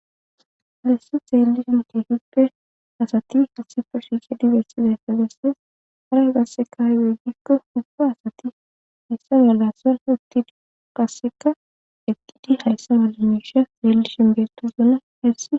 hayse xeeli shin tehippe asati hessi proshesshe dibersiza esfagasses haraa gasse kay weggikko hufo asati hayssa malasa uttid qasseka eqqidi hayssa mala miisha xeelli shimbeeto zuna hessi